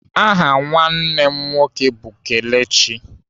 Aha nwanne m nwoke bụ Kelechi.